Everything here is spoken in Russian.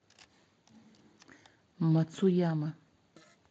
мацуяма